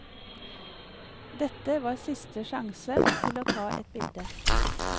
Dette var siste sjanse til å ta et bilde.